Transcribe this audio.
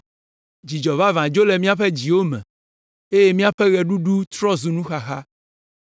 Dzidzɔ vavã dzo le míaƒe dziwo me eye míaƒe ɣeɖuɖu trɔ zu nuxaxa.